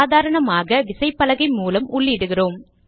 சாதாரணமாக விசைப்பலகை மூலம் உள்ளிடுகிறோம்